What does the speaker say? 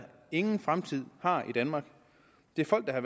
ingen fremtid har i danmark det er folk der er